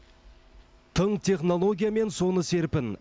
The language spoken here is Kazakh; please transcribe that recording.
тың технология мен соны серпін